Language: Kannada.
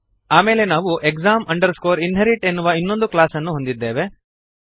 ಆಮೇಲೆ ನಾವು exam inherit ಎನ್ನುವ ಇನ್ನೊಂದು ಕ್ಲಾಸ್ ಅನ್ನು ಹೊಂದಿದ್ದೇವೆ